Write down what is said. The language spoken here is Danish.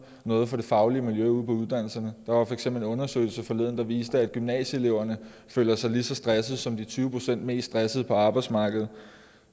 noget for det faglige miljø ude på uddannelserne der var for eksempel en undersøgelse forleden der viste at gymnasieeleverne føler sig lige så stressede som de tyve procent mest stressede på arbejdsmarkedet